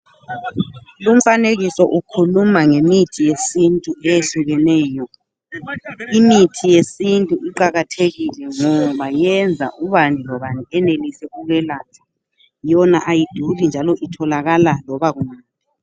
Umfanekiso ukhuluma ngemithi yesintu eyehlukeneyo, imithi yesintu iqakathekile, ngoba iyenza ubani lobani ayenelise ukwelatshwa yona ayiduri njalo itholakala loba kungaphi.